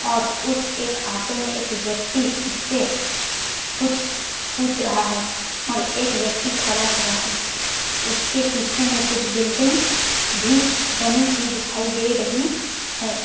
और उस एक ऑटो में एक व्यक्ति उससे कुछ पूछ रहा है और एक व्यक्ती खड़ा हुआ है उसके पीछे में कुछ बिल्डिंग भी बनी हुई दिखाई दे रही है।